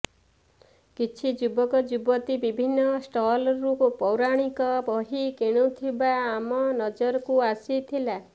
କିଛି ଯୁବକ ଯୁବତୀ ବିଭିନ୍ନ ଷ୍ଟଲରୁ ପୌରାଣିକ ବହି କିଣୁଥିବା ଆମ ନଜରକୁ ଆସିଥିଲା